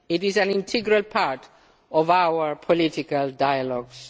It is an integral part of our political dialogues.